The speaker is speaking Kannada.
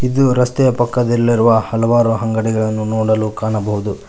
ಇದು ರಸ್ತೆ ಪಕ್ಕದಲ್ಲಿರುವ ಹಲವಾರು ಅಂಗಡಿಗಳನ್ನು ನೋಡಲು ಕಾಣಬಹುದು.